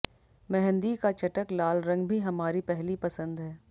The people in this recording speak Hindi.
मेहंदी का चटक लाल रंग भी हमारी पहली पसंद है